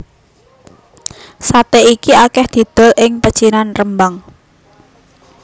Saté iki akeh didol ing pecinan Rembang